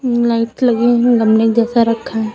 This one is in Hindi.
लाइट लगी है गमले जैसा रखा--